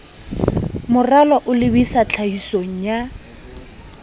moralo o lebisa tlhahisong ya